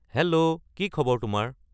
hello কি খবৰ তোমাৰ